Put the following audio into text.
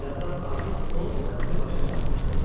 Bir azdan artıq o mənzil başına çatmışdı.